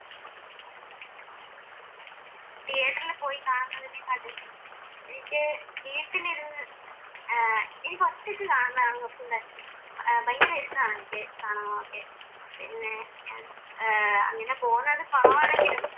തീയേറ്ററിൽ പോയി കാണുന്നതിനേക്കാളും എനിക്ക് വീട്ടിലിരുന്ന് ഏർ എനിക്ക് ഒറ്റക്ക് കാണുന്നതാണ് കുറച്ചൂടെ ഭയങ്കരം ഇഷ്ട്ടമാണ് എനിക്ക് കാണാനൊക്കെ പിന്നെ ഏർ പിന്നെ അങ്ങനെ പോന്നത് കുറവാണെങ്കിലും